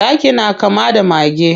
Zaki na kama da mage.